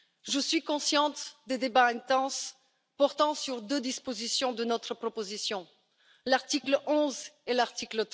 Je suis consciente des débats intenses portant sur deux dispositions de notre proposition, à savoir l'article 11 et l'article